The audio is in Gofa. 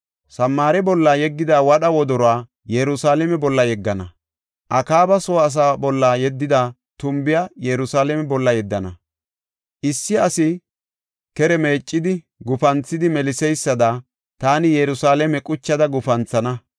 Samaare bolla yeggida wadha wodoruwa, Yerusalaame bolla yeggana; Akaaba soo asaa bolla yeddida tumbiya, Yerusalaame bolla yeddana. Issi asi kere meeccidi gufanthidi meliseysada, taani Yerusalaame quchada gufanthana.